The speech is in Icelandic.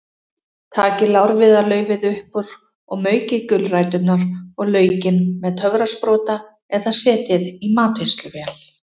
Takið lárviðarlaufið upp úr og maukið gulræturnar og laukinn með töfrasprota eða setjið í matvinnsluvél.